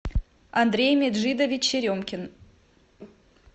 андрей меджидович черемкин